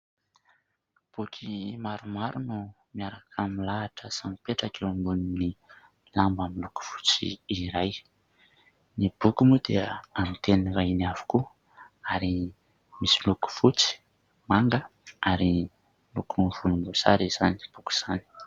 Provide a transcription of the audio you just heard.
Boky maromaro no miaraka milahatra sy mipetraka eo ambonin'ny lamba miloko fotsy iray. Ny boky moa dia amin'ny teny vahiny avokoa ary misy loko fotsy, manga ary loko volomboasary izany boky izany.